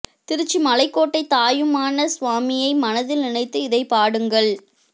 திருச்சி மலைக்கோட்டை தாயுமான சுவாமியை மனதில் நினைத்து இதைப் பாடுங்கள்